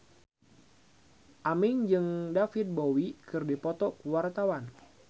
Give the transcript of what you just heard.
Aming jeung David Bowie keur dipoto ku wartawan